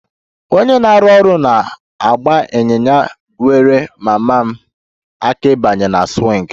Onye na-arụ ọrụ na-agba ịnyịnya nyeere mama m aka ịbanye na swing